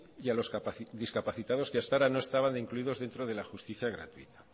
y a los discapacitados que hasta ahora no estaban incluidos dentro de la justicia gratuita